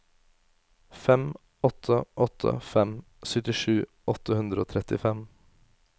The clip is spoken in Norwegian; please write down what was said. fem åtte åtte fem syttisju åtte hundre og trettifem